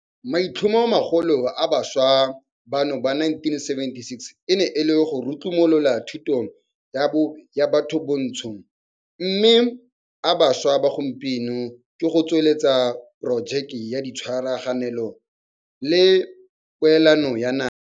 Maitlhomomagolo a bašwa bano ba 1976 e ne e le go rutlumolola thuto ya batho bantsho mme a bašwa ba gompieno ke go tsweletsa porojeke ya tshwarelano le poelano ya naga.